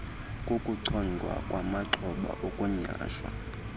kokuchongwa kwamaxhoba okunyhashwa